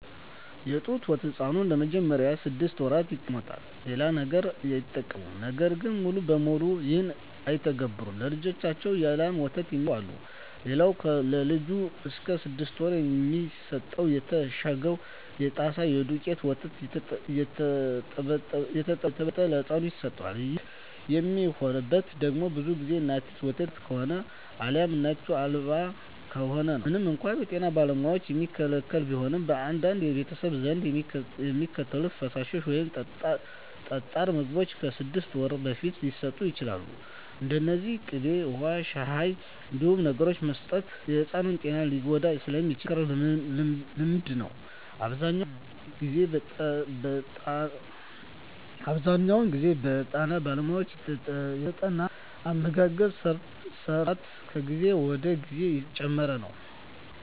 የጡት ወተት ሕፃኑ ለመጀመሪያዎቹ ስድስት ወራት ይጠቀማል። ሌላ ነገር አይጠቀምም። ነገር ግን ሙሉ በሙሉ ይህን አይተገብሩትም። ለልጃቸው የላም ወተት የሚሰጡ አሉ። ሌላኛው ለልጅ እስከ ስድስት ወር የሚሰጠው የታሸገው የጣሳ የደውቄቱ ወተት እየተበጠበጠ ለህፃኑ ይሰጠዋል። ይህ የሚሆነው ደግሞ ብዙ ግዜ እናቲቱ ወተት የላት ከሆነ አልያም እናት አልባ ከሆነ ነው። ምንም እንኳን በጤና ባለሙያዎች የሚከለከል ቢሆንም፣ በአንዳንድ ቤተሰቦች ዘንድ የሚከተሉት ፈሳሽ ወይም ጠጣር ምግቦች ከስድስት ወር በፊት ሊሰጡ ይችላሉ። እነዚህም ቅቤ፣ ውሀ፣ ሻሂ…። እነዚህን ነገሮች መስጠት የሕፃኑን ጤና ሊጎዳ ስለሚችል የማይመከር ልምምድ ነው። አብዛኛውን ግዜ በጠና ባለሙያ የተጠና አመጋገብ ስራት ከጊዜ ወደ ጊዜ እየጨመረ ነው።